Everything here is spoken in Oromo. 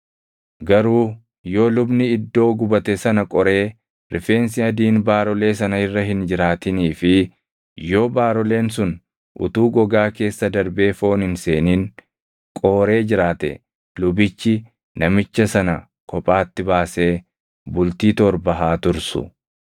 Garuu yoo lubni iddoo gubate sana qoree rifeensi adiin baarolee sana irra hin jiraatinii fi yoo baaroleen sun utuu gogaa keessa darbee foon hin seenin qooree jiraate lubichi namicha sana kophaatti baasee bultii torba haa tursu.